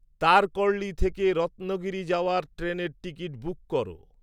তারকর্লি থেকে রত্নগিরি যাওয়ার ট্রেনের টিকিট বুক কর